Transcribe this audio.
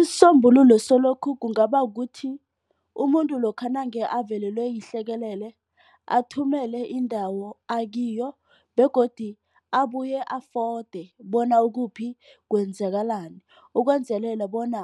Isombululo salokhu kungaba kukuthi umuntu lokha nange avelelwe yihlekelele athumele indawo akiyo begodu abuye afode bona ukuphi kwenzakalani. Ukwenzelela bona